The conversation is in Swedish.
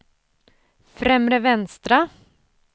främre vänstra